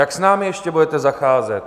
Jak s námi ještě budete zacházet?